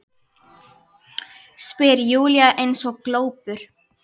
spyr Júlía eins og glópur.